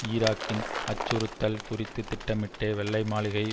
ஈராக்கின் அச்சுறுத்தல் குறித்து திட்டமிட்டே வெள்ளை மாளிகை